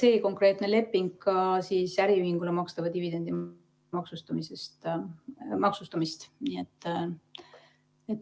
see konkreetne leping ei mõjuta ka äriühingule makstava dividendi maksustamist.